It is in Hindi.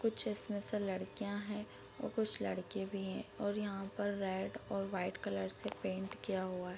कुछ इसमें से लड़कियाँ हैं और कुछ लड़के भी हैं और यहाँ पर रेड और व्हाइट कलर से पेंट किया हुआ --.